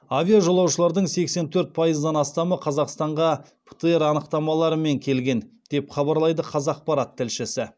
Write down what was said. авиажолаушылардың сексен төрт пайыздан астамы қазақстанға птр анықтамаларымен келген деп хабарлайды қазақпарат тілшісі